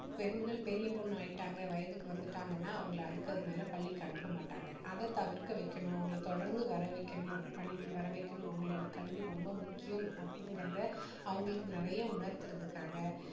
பெண்கள் பெரிய பொண்ணு ஆயிட்டாங்க வயதுக்கு வந்துட்டாங்கன்னா அவங்களை அதுக்கு மேல பள்ளிக்கு அனுப்பமாட்டாங்க அதை தவிர்க்க வைக்கணும் அவங்களை தொடர்ந்து வரவைக்கணும் பள்ளிக்கு வரவைக்கணும் அவங்களோட கல்வி ரொம்ப முக்கியம் அப்படிங்கிறதை அவங்களுக்கு நிறைய உணர்த்துவதற்காக